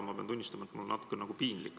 Ma pean tunnistama, et mul on natukene nagu piinlik.